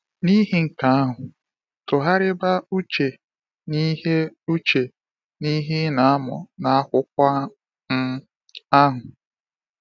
N’ihi nke ahụ, tụgharịba uche n’ihe uche n’ihe ị na-amụ n’akwụkwọ um ahụ.